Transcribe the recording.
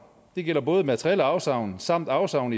det gælder både materielle afsavn samt afsavn